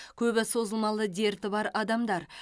көбі созылмалы дерті бар адамдар